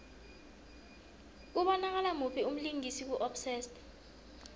kubonakala muphi umlingisi ku obsessed